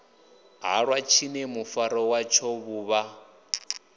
halwa tshine mufaro watsho vhuvha